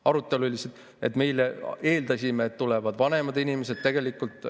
Arutelu oli lihtsalt, et me eeldasime, et tulevad vanemad inimesed, tegelikult ...